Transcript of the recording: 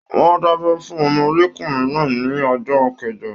Wọn da'bẹ fún ọmọdékunrin náà ní ọjọ kẹjọ.